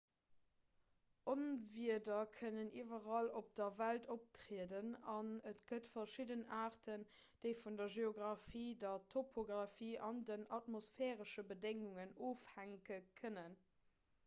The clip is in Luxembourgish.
onwieder kënnen iwwerall op der welt optrieden an et gëtt verschidden aarten déi vun der geografie der topografie an den atmosphäresche bedéngungen ofhänke kënnen